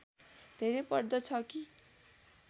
धेरै पर्दछ कि